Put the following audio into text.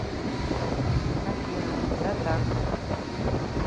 афина да так